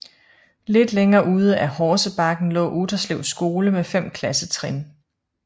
Lidt længere ude ad Horsebakken lå Utterslev Skole med 5 klassetrin